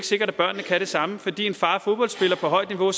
sikkert at børnene kan det samme fordi en far er fodboldspiller på højt niveau er